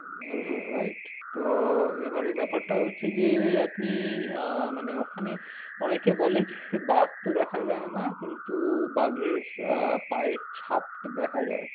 Right তো এবারের ব্যাপারটা হচ্ছে যে~ আপনি~ আহ ওখানে অনেকে বলে যে বাঘ তো দেখা যায় না। কিন্তু বাঘের আহ পায়ের ছাপ দেখা যায়।